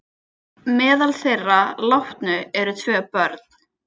Meðal þeirra látnu eru tvö börn